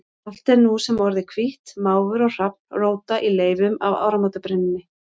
Allt er nú sem orðið hvítt, máfur og hrafn róta í leifunum af áramótabrennunni.